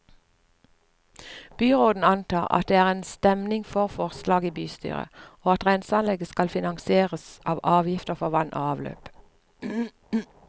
Byråden antar at det er stemning for forslaget i bystyret, og at renseanlegget skal finansieres av avgiftene for vann og avløp.